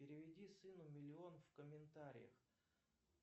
переведи сыну миллион в комментариях